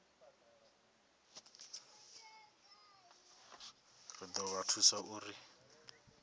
ri do vha thusa uri